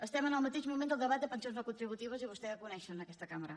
estem en el mateix moment del debat de pensions no contributives i vostès ja ho coneixen en aquesta cambra